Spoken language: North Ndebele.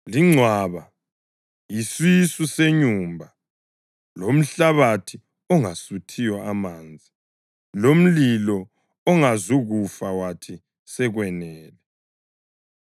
lingcwaba yisisu senyumba, lomhlabathi ongasuthiyo amanzi, lomlilo ongezukufa wathi, ‘Sekwanele!’